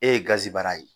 E ye gazi bara ye